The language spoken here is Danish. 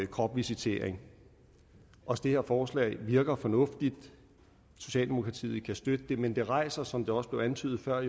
kropsvisitering også det her forslag virker fornuftigt socialdemokratiet kan støtte det men det rejser jo som det også blev antydet før